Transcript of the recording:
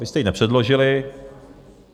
Vy jste ji nepředložili.